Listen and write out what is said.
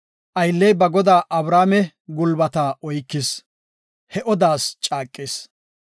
Aylley ba godaa Abrahaame gulbata oykis; he odaas caaqis.